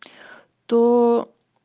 то